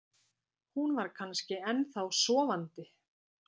Hún var kannski ennþá sofandi.